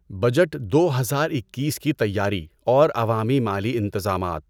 budget دو ہزار اکیس کی تیاری اور عوامی مالی انتظامات